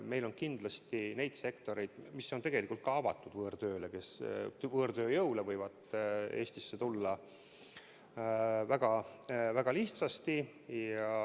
Meil on kindlasti neid sektoreid, mis on ka tegelikult avatud võõrtööle, kuhu võõrtööjõud võib Eestis tulla väga lihtsasti.